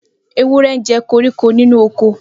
Ewúrẹ́ ńjẹ koríko nínú oko.